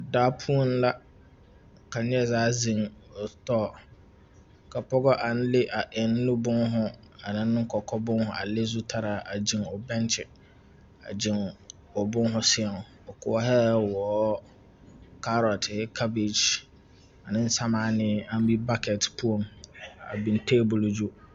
Daa poɔŋ la ka neɛ zaa zeŋ o pɔgɔ ka pɔgɔ aŋ le a eŋ nu būūhū a la ne kɔkɔ būūhū a le zutaraa a gyeŋ o benkyi a gyeŋ o būūhū seɛŋ o koɔhɛɛ wɔɔ kaarotihi kabage aneŋ sɛmaanee aŋ be bakɛte poɔŋ a biŋ tabole gyu.